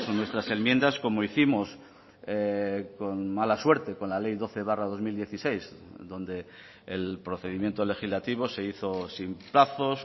nuestras enmiendas como hicimos con mala suerte con la ley doce barra dos mil dieciséis donde el procedimiento legislativo se hizo sin plazos